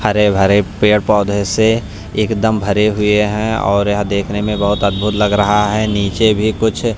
हरे भरे पेड़-पौधे से एकदम भरे हुए हैं और यह देखने में बहुत अद्भुत लग रहा है नीचे भी कुछ--